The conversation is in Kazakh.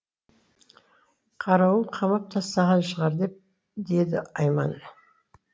қарауыл қамап тастаған шығар деді айман